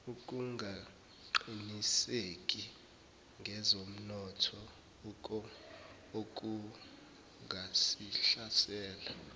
ukungaqiniseki ngezomnotho okungasihlasela